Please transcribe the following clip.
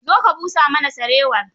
Zo ka busa mana sarewar.